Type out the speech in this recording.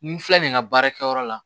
Ni n filɛ nin ye nka baarakɛ yɔrɔ la